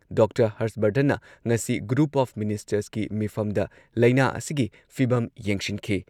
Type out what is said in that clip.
doctor Harsh ꯕꯔꯙꯟꯅ ꯉꯁꯤ group of ꯃꯤꯅꯤꯁꯇꯔꯁꯀꯤ ꯃꯤꯐꯝꯗ ꯂꯩꯅꯥ ꯑꯁꯤꯒꯤ ꯐꯤꯚꯝ ꯌꯦꯡꯁꯤꯟꯈꯤ